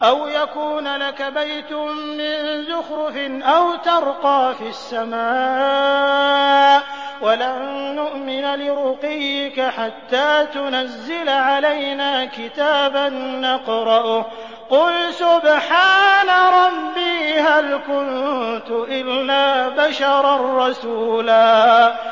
أَوْ يَكُونَ لَكَ بَيْتٌ مِّن زُخْرُفٍ أَوْ تَرْقَىٰ فِي السَّمَاءِ وَلَن نُّؤْمِنَ لِرُقِيِّكَ حَتَّىٰ تُنَزِّلَ عَلَيْنَا كِتَابًا نَّقْرَؤُهُ ۗ قُلْ سُبْحَانَ رَبِّي هَلْ كُنتُ إِلَّا بَشَرًا رَّسُولًا